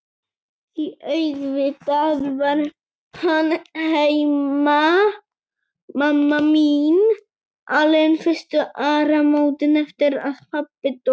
Því auðvitað var hún heima, mamma mín, alein fyrstu áramótin eftir að pabbi dó.